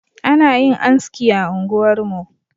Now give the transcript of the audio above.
Ana yin anski a unguwarmu